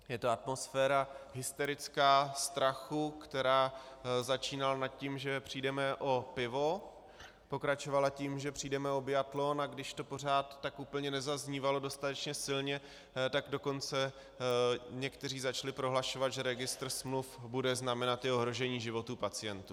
Je to atmosféra hysterická, strachu, která začínala nad tím, že přijdeme o pivo, pokračovala tím, že přijdeme o biatlon, a když to pořád tak úplně nezaznívalo dostatečně silně, tak dokonce někteří začali prohlašovat, že registr smluv bude znamenat i ohrožení životů pacientů.